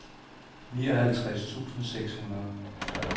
nioghalvtreds tusind seks hundrede